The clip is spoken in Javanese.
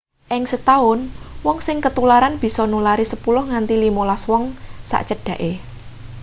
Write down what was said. ing setaun wong sing ketularan bisa nulari 10 nganti 15 wong sacedhake